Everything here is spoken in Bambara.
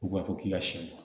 U b'a fɔ k'i ka siyɛn bɔ